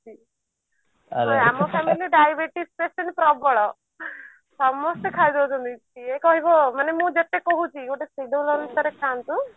ଆମ family ରେ diabetes patient ପ୍ରବଳ ସମସ୍ତେ ଖାଇ ଦଉଛନ୍ତି କିଏ କହିବ ମାନେ ମୁଁ ଯେତେ କହୁଛି ଗୋଟେ schedule ଅନୁସାରେ ଖାଆନ୍ତୁ